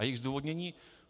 A její zdůvodnění?